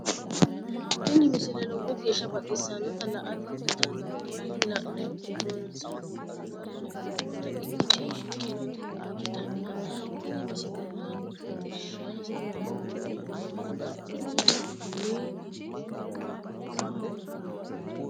tini misile lowo geeshsha baxissannote la"ate injiitanno woy la'ne ronsannire lowore afidhinota ikkite shiqqinota ikkitanna tini misilera tittirsha hasidhanno kunino Elekitiroonikisete uduunni giddo kaawiyyaho yinanni.